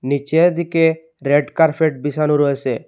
নিচের দিকে রেডকার্পেট বিছানো রয়েছে।